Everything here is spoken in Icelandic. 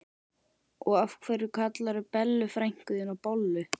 Og af hverju kallarðu Bellu frænku þína bollu?